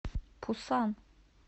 пусан